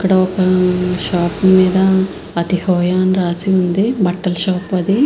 ఇక్కడ ఒక షాప్ మీద అతిహోయ అని రాసి వుంది బట్టల షాప్ అది.